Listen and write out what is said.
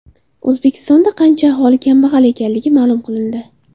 O‘zbekistonda qancha aholi kambag‘al ekanligi ma’lum qilindi.